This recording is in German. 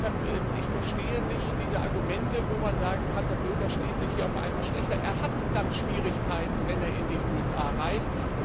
Deshalb verstehe ich diese Argumente nicht, wie man sagen kann, der Bürger steht hier auf einmal schlechter da. Er hat dann Schwierigkeiten, wenn er in die USA reist.